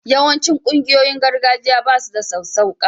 Yawancin ƙungiyoyin gargajiya ba su da sassauƙa